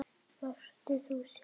Vertu þú sjálf.